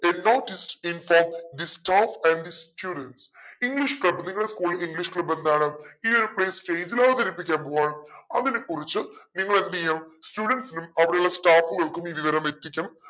a notice to inform the staff and the studentsenglish club നിങ്ങടെ school ൽ english club എന്താണ് ഈ ഒരു play stage ൽ അവതരിപ്പിക്കാൻ പോവാണ് അതിനെ കുറിച്ച് നിങ്ങളെന്തെയ്യ students നും അവിടെയുള്ള staffs കൾക്കും ഈ വിവരം എത്തിക്കണം